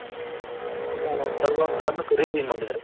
ಮಾಡದ್ರೆ